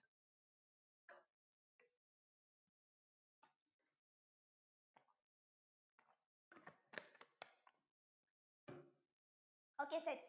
okay set